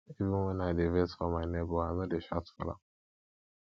even wen i dey vex for my nebor i no dey shout for am